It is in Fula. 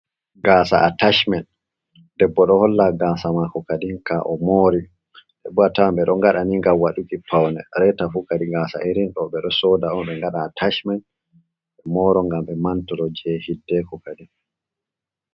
Gaasa jey atashmen, debbo ɗo holla gaasa maako kadin, ka o moori dtdo ngadani ngam waɗuki pawne, reetafuu kadi gaasa irin ɗo ɓe ɗo sooda on, ɓe ngaɗa ataashmen. Ɓe mooro ngam ɓe mantooro jey hiddeeko kadin.